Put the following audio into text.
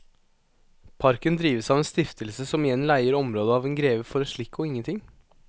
Parken drives av en stiftelse som igjen leier området av en greve for en slikk og ingenting.